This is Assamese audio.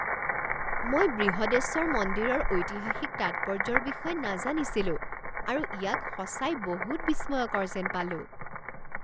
মই বৃহদেশ্বৰ মন্দিৰৰ ঐতিহাসিক তাৎপৰ্য্যৰ বিষয়ে নাজানিছিলোঁ আৰু ইয়াক সঁচাই বহুত বিস্ময়কৰ যেন পালোঁ।